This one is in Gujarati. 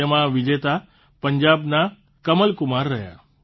તેમાં વિજેતા પંજાબના કમલકુમાર રહ્યાં